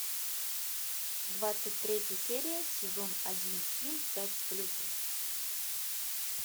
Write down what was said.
двадцать третья серия сезон один ким пять с плюсом